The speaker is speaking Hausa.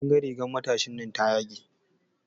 Kin ga rigan matashinan ta yage.